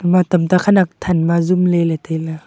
ema tam ta khanak than ma zop ley ley tai a.